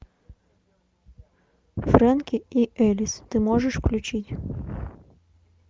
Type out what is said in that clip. фрэнки и элис ты можешь включить